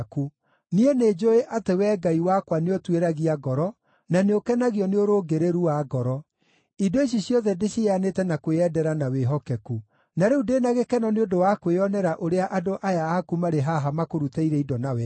Niĩ nĩnjũũĩ atĩ Wee Ngai wakwa nĩũtuĩragia ngoro, na nĩũkenagio nĩ ũrũngĩrĩru wa ngoro. Indo ici ciothe ndĩciheanĩte na kwĩyendera na wĩhokeku. Na rĩu ndĩ na gĩkeno nĩ ũndũ wa kwĩonera ũrĩa andũ aya aku marĩ haha makũrutĩire indo na wendo.